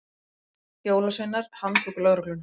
Jólasveinar handtóku lögregluna